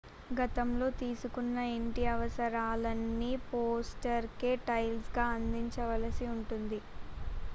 గతంలో తీసుకున్న ఇంటి అవసరాలన్నీ ఫోస్టర్ కే టాయిస్ గా అందించాల్సి ఉంటుంది